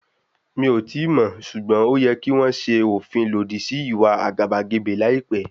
Mí ò tíì mọ̀, ṣùgbọ́n ó yẹ kí wọ́n ṣe òfin lòdì sí ìwà àgàbàgebè láìpẹ́.